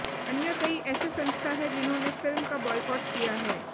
अन्य कई ऐसे संस्था हैं जिन्होंने फिल्म का बायकॉट किया है